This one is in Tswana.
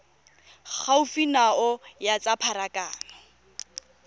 gaufi nao ya tsa pharakano